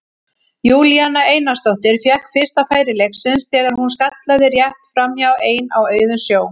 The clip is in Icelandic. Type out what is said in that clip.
Júlíana Einarsdóttir fékk fyrsta færi leiksins þegar hún skallaði rétt framhjá ein á auðum sjó.